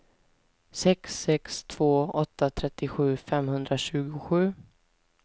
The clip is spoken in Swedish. sex sex två åtta trettiosju femhundratjugosju